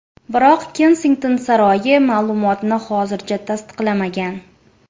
Biroq Kensington saroyi ma’lumotni hozircha tasdiqlamagan.